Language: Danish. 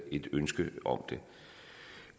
ønske om det